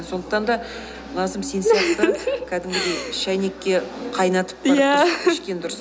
сондықтан да назым сен сияқты кәдімгідей шәйнекке қайнатып барып иә ішкен дұрыс